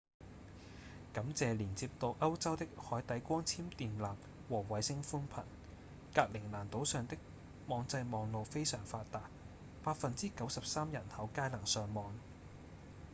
感謝連接到歐洲的海底光纖電纜和衛星寬頻格陵蘭島上的網際網路非常發達 93% 人口皆能上網